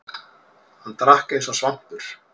Hann drakk eins og svampur.